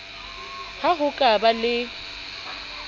ha ho ka ba le